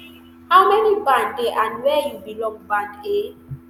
how many band dey and wia you belong band a